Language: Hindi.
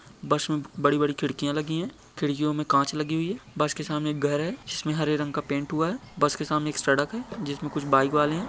बस में बड़ी-बड़ी खिडकिया लगी है खिडकियों में कांच लगी हुई है बस के सामने घर है जिसमे हरे रंग का पेंट हुआ है बस के सामने एक सडक है जिसमें कुछ बाइक वाले है।